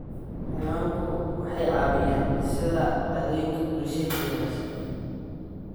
Xayawaanku waxay caawiyaan dhisidda caadooyinka bulsheed ee wanaagsan.